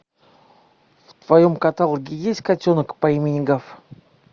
в твоем каталоге есть котенок по имени гав